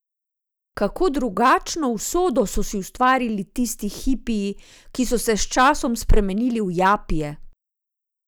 Kako drugačno usodo so si ustvarili tisti hipiji, ki so se s časom spremenili v japije!